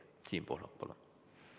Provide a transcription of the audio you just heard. Siim Pohlak, palun!